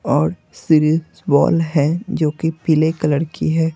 और बॉल है जो कि पीले कलर की है।